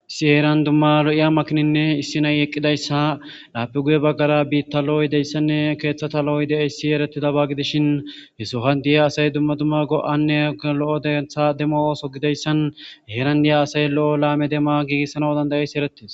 issi heeran dumma lo7iya makininne issinay eqqidayssa laapi guye baggara biitta lo7oy deyssanne keeththata lo7oy de7eyssi eretida ba gidishin hesohan diya asay dumma dumma go7anne lo7o dentha demmo ooso gideyssan heeran diya asay lo7o laame demma giigissana dandayessi eretis